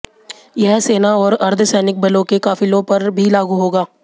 यह सेना और अर्धसैनिक बलों के काफिलों पर भी लागू होगा